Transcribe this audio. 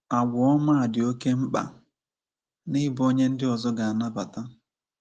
Àgwà ọma “dị oké mkpa n’ịbụ onye ndị ọzọ ga-anabata